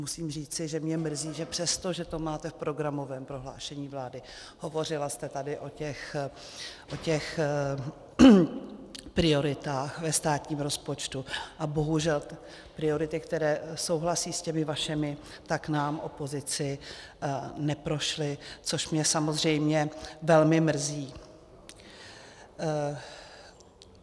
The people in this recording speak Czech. Musím říci, že mě mrzí, že přesto, že to máte v programovém prohlášení vlády, hovořila jste tady o těch prioritách ve státním rozpočtu, a bohužel priority, které souhlasí s těmi vašimi, tak nám, opozici, neprošly, což mě samozřejmě velmi mrzí.